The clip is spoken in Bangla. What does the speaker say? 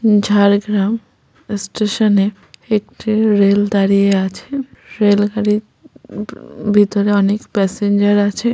উ-ম ঝাড়গ্রামস্টেশনে একটি রেল দাঁড়িয়ে আছে রেল গাড়ির উ-ভিতর অনেক প্যাসেঞ্জার আছে ।